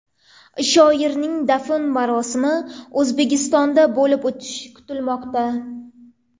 Shoirning dafn marosimi O‘zbekistonda bo‘lib o‘tishi kutilmoqda .